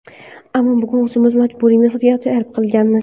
Ammo bugun o‘zimiz majburiy mehnatga jalb qilinganmiz.